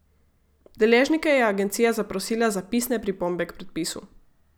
Deležnike je agencija zaprosila za pisne pripombe k predpisu.